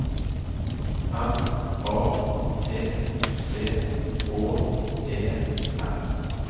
M A T C H E R